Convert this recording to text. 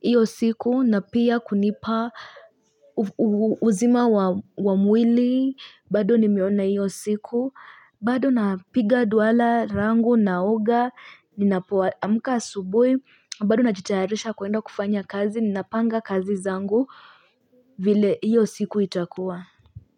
iyo siku, na pia kunipa uzima wa mwili, bado nimeona hiyo siku, bado napiga dua la langu naoga, ninapoaamka asubui, bado najitayarisha kuenda kufanya kazi, ninapanga kazi zangu vile hiyo siku itakuwa.